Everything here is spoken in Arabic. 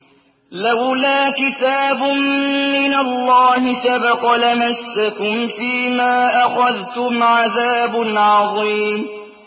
لَّوْلَا كِتَابٌ مِّنَ اللَّهِ سَبَقَ لَمَسَّكُمْ فِيمَا أَخَذْتُمْ عَذَابٌ عَظِيمٌ